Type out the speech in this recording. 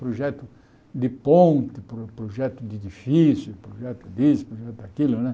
Projeto de ponte, pro projeto de edifício, projeto disso, projeto daquilo, né?